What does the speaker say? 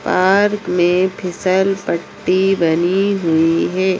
Park में फिसल पट्टी बनी हुई है।